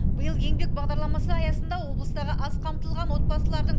биыл еңбек бағдарламасы аясында облыстағы аз қамтылған отбасылардың